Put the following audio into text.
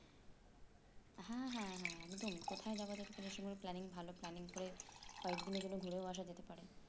হ্যাঁ হ্যাঁ হ্যাঁ একদম কোথায় যাবা planning ভালো planning করে কয়েকদিনের জন্য ঘুরেও আসা যেতে পারে